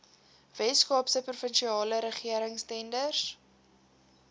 weskaapse provinsiale regeringstenders